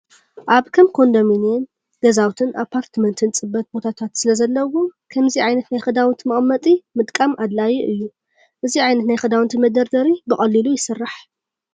ኣብ ከም ኮንዶሚኒየም ገዛውትን ኣፓርታመንትን ፅበት ቦታታት ስለ ዘለዎም ከምዚ ዓይነት ናይ ክዳውንቲ መቀመጢ ምጥቃም ኣድላዩ እዩ። እዚ ዓይነት ናይ ክዳውንቲ መደርደሪ ብቀሊሉ ይስራሕ።